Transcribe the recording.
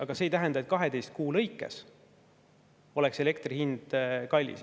Aga see ei tähenda, et 12 kuu lõikes oleks elektri hind kallis.